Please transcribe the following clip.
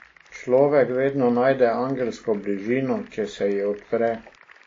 Človek vedno najde angelsko bližino, če se ji odpre.